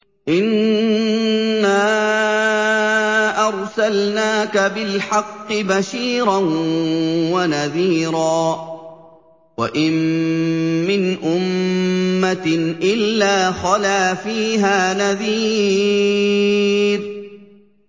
إِنَّا أَرْسَلْنَاكَ بِالْحَقِّ بَشِيرًا وَنَذِيرًا ۚ وَإِن مِّنْ أُمَّةٍ إِلَّا خَلَا فِيهَا نَذِيرٌ